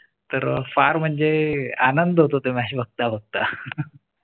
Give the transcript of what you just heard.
तर फार म्हणजे आनंद होतो. match बघता बघता.